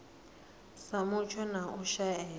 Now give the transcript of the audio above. sa mutsho na u shaea